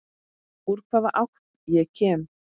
Úr hvaða átt ég kem.